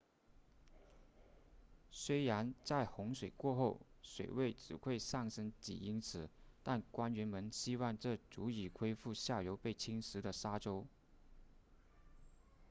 虽然在洪水过后水位只会上升几英尺但官员们希望这足以恢复下游被侵蚀的沙洲